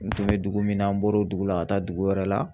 N tun bɛ dugu min na an bɔr'o dugu la ka taa dugu wɛrɛ la.